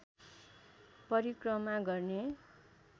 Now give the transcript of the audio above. परिक्रमा गर्ने